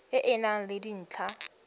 e e nang le dintlha